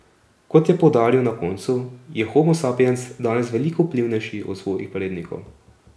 Kot je poudaril na koncu, je homo sapiens danes veliko vplivnejši od svojih prednikov.